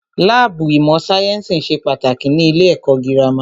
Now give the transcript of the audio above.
Láàbù ìmọ̀ sáyẹ́nsì ṣe pàtàkì ní ilé ẹ̀kọ́ gírámà.